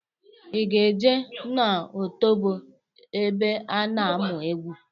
I ga-eje n'otobo ebe a na-amụ egwu!